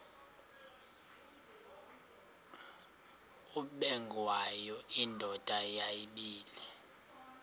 ubengwayo indoda yayibile